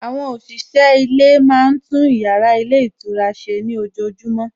Àwọn òṣìṣẹ́ ilé máa tún ìyára ilé ìtura ṣe ní ojojúmọ́